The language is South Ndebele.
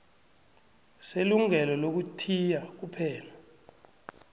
selungelo lokuthiya kuphela